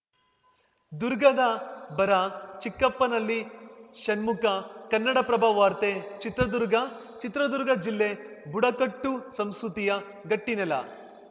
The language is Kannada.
ದುರ್ಗದ ಬರ ಚಿಕ್ಕಪ್ಪನಲ್ಲಿ ಷಣ್ಮುಖ ಕನ್ನಡಪ್ರಭ ವಾರ್ತೆ ಚಿತ್ರದುರ್ಗ ಚಿತ್ರದುರ್ಗ ಜಿಲ್ಲೆ ಬುಡಕಟ್ಟು ಸಂಸ್ಕೃತಿಯ ಗಟ್ಟಿನೆಲ